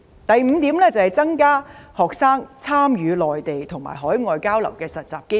第五點，增加學生參與內地和海外交流及實習的機會。